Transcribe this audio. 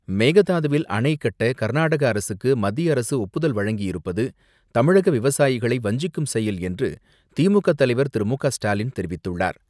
மேகதாதுவில் அணை கட்ட கர்நாடக அரசுக்கு மத்திய அரசு ஒப்புதல் வழங்கியிருப்பது தமிழக விவசாயிகளை வஞ்சிக்கும் செயல் என்று திமுக தலைவர் திரு மு.க.ஸ்டாலின் தெரிவித்துள்ளார்.